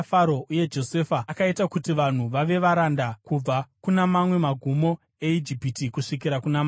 uye Josefa akaita kuti vanhu vave varanda kubva kuna mamwe magumo eIjipiti kusvikira kuna mamwe.